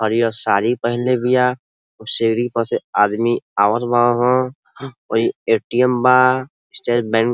हरिअ सारी पहीनले बिया। ओ सीरी प से आदमी आवत बाहन। ऊई ए.टी.एम. बा। State Bank --